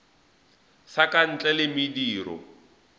sa ka ntle le mediro